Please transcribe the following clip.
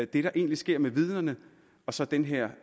det der egentlig sker med vidnerne og så den her